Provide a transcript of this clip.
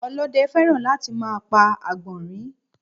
Ọlóde fẹ́ràn láti máa pa Àgbọ̀nrín